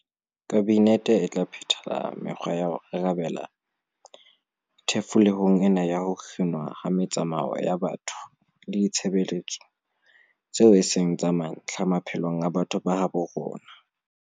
Kabinete e tla phethela me-kgwa ya ho arabela thefulehong ena ya ho kginwa ha metsamao ya batho le ditshebeletso tseo e seng tsa mantlha, maphelong a batho ba habo rona.